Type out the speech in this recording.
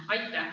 Aitäh!